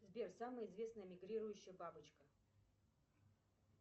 сбер самая известная мигрирующая бабочка